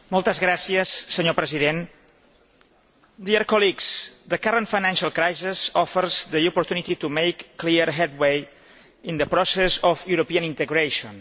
Mr President, the current financial crisis offers the opportunity to make clear headway in the process of European integration.